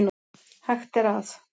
Hægt er að